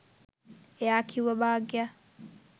එයා කිව්වා භාග්‍යා